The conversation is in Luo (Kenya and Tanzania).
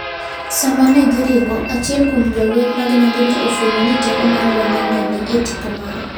Sama ne giringo, achiel kuom jolweny mag Nandi ne ofwenyo ni teko mar Lwanda ne ni e tipo mare.